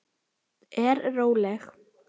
Er róleg.